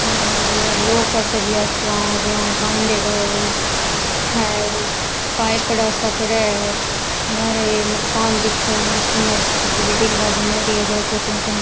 लौह का सरिया सा यान बान्देडा है हेर पाइपडा पड़या है लारे एक मकान दिख है मस्त मस्त बिल्डिंगा बणयोडी है दो दो तीन तीन।